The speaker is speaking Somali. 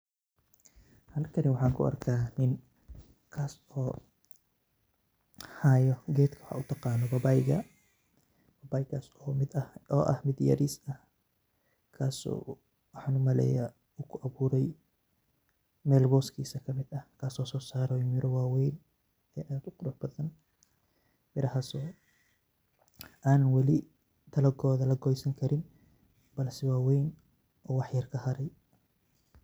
Halkani waxa kuarkaya nin kaas oo hayo geed o uyagano paipaika, bahalkas oo ah mid yaris ah, kaas oo wax umaleya wuxu kudaganyaxay mel hoskisa kamid ah, kaas oo sosaro miraa wawen, mirahas oo an wali dalagoda lagosankarin balse wawen wax yar kaharey.